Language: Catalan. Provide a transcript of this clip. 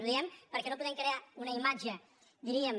ho diem perquè no podem crear una imatge diríem